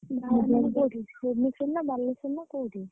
ବାହାରକୁ ମାନେ କୋଉଠି ଭୁବନେଶ୍ବର ନା ବାଲେଶ୍ବର ନା କୋଉଠି?